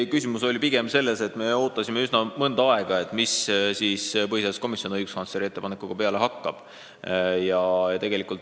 Ei, küsimus oli pigem selles, et me ootasime mõnda aega, mida põhiseaduskomisjon õiguskantsleri ettepanekuga siis peale hakkab.